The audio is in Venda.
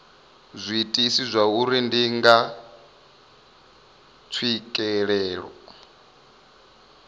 zwiitisi zwauri ndi ngani tswikelelo